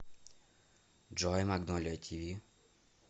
джой магнолия ти ви